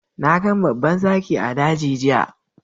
Na gan babban zaki a dagi giya.